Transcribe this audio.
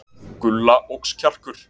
Gulla óx kjarkur.